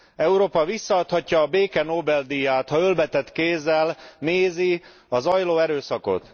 Európa visszaadhatja a béke Nobel díját, ha ölbe tett kézzel nézi a zajló erőszakot.